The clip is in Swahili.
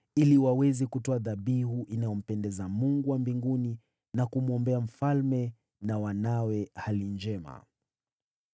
ili waweze kutoa dhabihu inayompendeza Mungu wa mbinguni na kumwombea mfalme na wanawe hali njema.